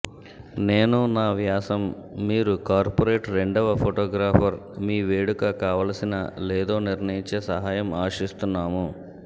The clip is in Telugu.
నేను నా వ్యాసం మీరు కార్పొరేట్ రెండవ ఫోటోగ్రాఫర్ మీ వేడుక కావలసిన లేదో నిర్ణయించే సహాయం ఆశిస్తున్నాము